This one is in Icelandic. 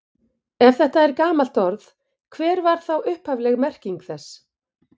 Ef þetta er gamalt orð, hver var þá upphafleg merking þess?